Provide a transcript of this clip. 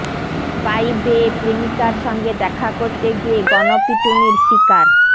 pipe বেয়ে প্রেমিকার সঙ্গে দেখা করতে গিয়ে গণপিটুনির শিকার